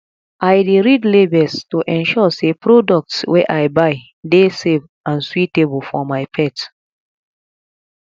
i dey read labels to ensure sey products wey i buy dey safe and suitable for my pet